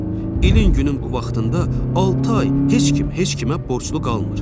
İlin günün bu vaxtında altı ay heç kim heç kimə borclu qalmır.